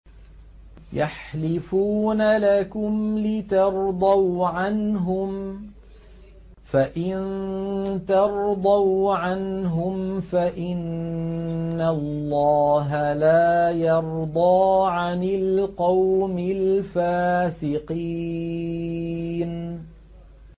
يَحْلِفُونَ لَكُمْ لِتَرْضَوْا عَنْهُمْ ۖ فَإِن تَرْضَوْا عَنْهُمْ فَإِنَّ اللَّهَ لَا يَرْضَىٰ عَنِ الْقَوْمِ الْفَاسِقِينَ